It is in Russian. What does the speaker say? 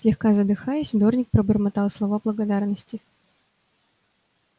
слегка задыхаясь дорник пробормотал слова благодарности